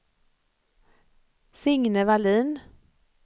Signe Wallin